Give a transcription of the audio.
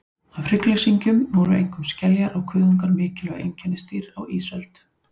Af hryggleysingjum voru einkum skeljar og kuðungar mikilvæg einkennisdýr á ísöld.